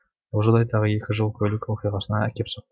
бұл жағдай тағы екі жол көлік оқиғасына әкеп соқты